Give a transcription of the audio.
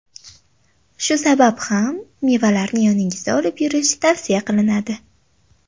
Shu sabab ham mevalarni yoningizda olib yurish tavsiya qilinadi.